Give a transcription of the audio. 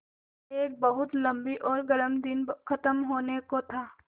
एक बहुत लम्बा और गर्म दिन ख़त्म होने को था